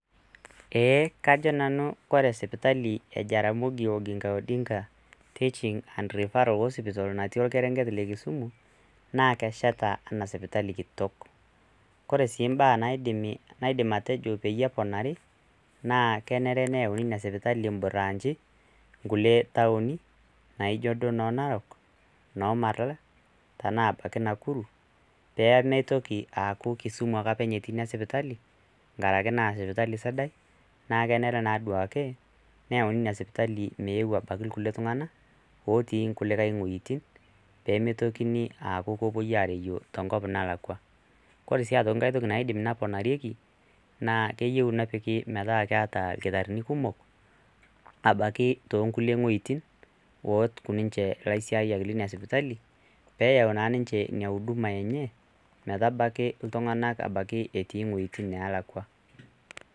Ee kajo nanu ore sipitali e JOOTRH natii orkerenget le Kisumu naa keteshetaki enaa sipitali kitok ore sii imbaa naidim atejo pee eponari naa kenare neyau sirkali branchi nkulie taoni naa ijo duo noo Narok, noo Maralal tenaa ebaiki Nakuru pee mitoki aaku Kisumu ake openy etii ina spitali nkaraki naa aa sipitali sidai naa kenare naa duake neyauni ina sipitali meeu abaiki kulie tung'anak ootii kulie wuejitin pee eku mitokini aapuo enkop nalakwa, ore sii enkae toki naisim neponari naa keyieu nepiki metaa keeta idakitarini kumok abaiki toonkulie wuejitin ooku ninche ilaisiayiaki lina sipitali pee eyau naa ninnche ina huduma, metabaiki iltung'anak toowuejitin pookin.